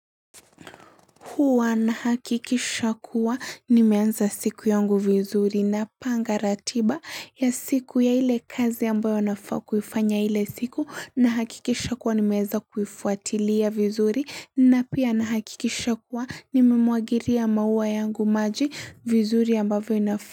Huwa na hakikisha kuwa nimeanza siku yangu vizuri na panga ratiba ya siku ya ile kazi ambayo nafaa kuifanya ile siku na hakikisha kuwa nimeanza kuifuatilia vizuri na pia na hakikisha kuwa nime mwagiria maua yangu maji vizuri ambayo inafa.